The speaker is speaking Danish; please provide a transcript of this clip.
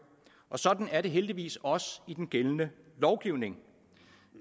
og sådan er det heldigvis også i den gældende lovgivning